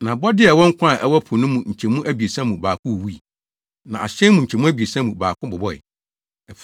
Na abɔde a ɛwɔ nkwa a ɛwɔ po no mu nkyɛmu abiɛsa mu baako wuwui, na ahyɛn mu nkyɛmu abiɛsa mu baako bobɔe.